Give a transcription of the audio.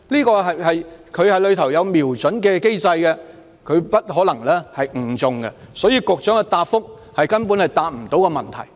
水炮車有瞄準的機制，不可能誤中其他人，所以局長的答覆根本未能回應問題。